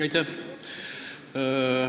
Aitäh!